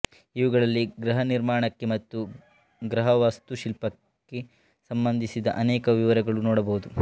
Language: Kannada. ಇವುಗಳಲ್ಲಿ ಗೃಹನಿರ್ಮಾಣಕ್ಕೆ ಮತ್ತು ಗೃಹವಾಸ್ತುಶಿಲ್ಪಕ್ಕೆ ಸಂಬಂಧಿಸಿದ ಅನೇಕ ವಿವರಗಳನ್ನು ನೋಡಬಹುದು